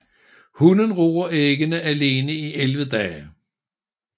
Hunnen ruger æggene alene i 11 dage